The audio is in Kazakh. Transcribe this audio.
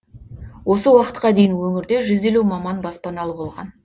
осы уақытқа дейін өңірде жүз елу маман баспаналы болған